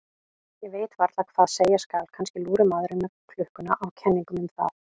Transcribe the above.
Ég veit varla hvað skal segja, kannski lúrir maðurinn með klukkuna á kenningum um það.